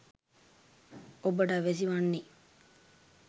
ඔබට අවැසි වන්නෙ